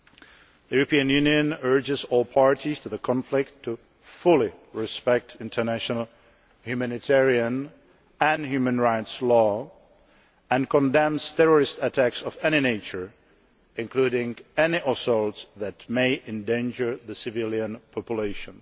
The European Union urges all parties to the conflict to fully respect international humanitarian and human rights law and condemns terrorist attacks of any nature, including any assaults that may endanger the civilian population.